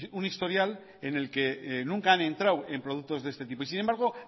un historial en el que nunca han entrado en productos de este tipo sin embargo